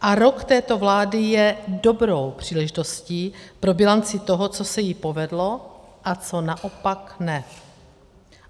A rok této vlády je dobrou příležitostí pro bilanci toho, co se jí povedlo a co naopak ne.